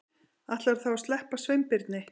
Ætlarðu þá að sleppa Sveinbirni?